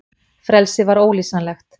Frelsið var ólýsanlegt.